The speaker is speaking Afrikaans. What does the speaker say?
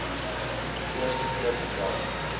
eerste keer vandag